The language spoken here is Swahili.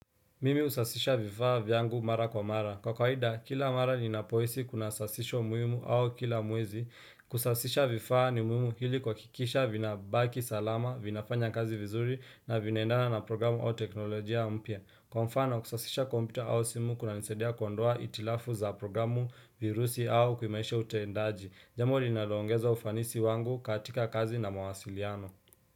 Mimi husasisha vifaa vyangu mara kwa mara. Kwa kawaida kila mara ni napohisi kuna sasisho muhimu au kila mwezi. Kusasisha vifaa ni muhimu ili kuhakikisha vina baki salama, vinafanya kazi vizuri na vinaendana na programu au teknolojia mpya. Kwa mfano, kusasisha kompyuta au simu kuna nisaidia kuondoa itilafu za programu virusi au kuhimarisha utendaji. Jambo li naloongeza ufanisi wangu katika kazi na mwasiliano.